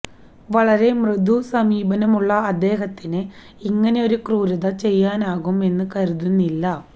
വളരെ മൃദു സമീപനമുള്ള അദ്ദേഹത്തിന് ഇങ്ങനെയൊരു ക്രൂരത ചെയ്യാനാകും എന്ന് കരുതുന്നില്ല